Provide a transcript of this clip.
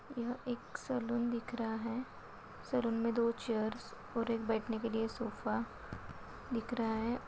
यह एक सलून दिख रहा है सलून मे दो चेयर्स और एक बैठने के लिए सोफ़ा दिख रहा है।